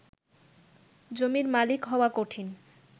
জমির মালিক হওয়া কঠিন